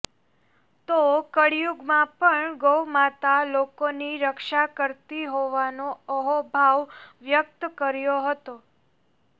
તો કળિયુગમાં પણ ગૌમાતા લોકોની રક્ષા કરતી હોવાનો અહોભાવ વ્યક્ત કર્યો હતો